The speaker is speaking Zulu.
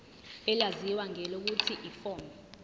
elaziwa ngelokuthi yiform